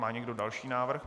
Má někdo další návrh?